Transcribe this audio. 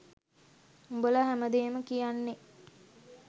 උඹල හැමදේම කියන්නෙ